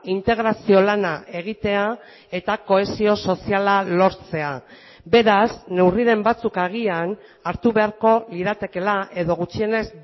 integrazio lana egitea eta kohesio soziala lortzea beraz neurriren batzuk agian hartu beharko liratekeela edo gutxienez